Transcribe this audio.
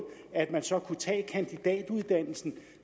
at man så kunne tage kandidatuddannelsen